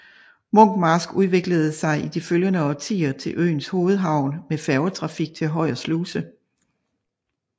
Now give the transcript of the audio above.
Munkmarsk udviklede sig i de følgende årtier til øens hovedhavn med færgetrafik til Højer Sluse